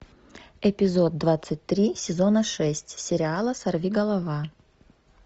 эпизод двадцать три сезона шесть сериала сорви голова